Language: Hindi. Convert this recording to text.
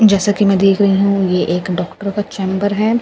जैसा की मैं देख रही हूँ ये एक डॉक्टर का चैम्बर हैं ब्लू कलर --